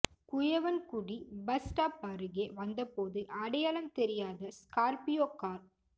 Kuyavankudi bus stop அருகே வந்த போது அடையாளம்தெரியாத ஸ்கார்பியோ கார்